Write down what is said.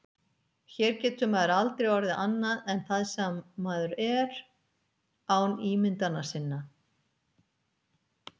Hér getur maður aldrei orðið annað en það sem maður er án ímyndana sinna.